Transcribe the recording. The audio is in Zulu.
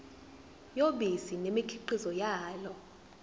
yobisi nemikhiqizo yalo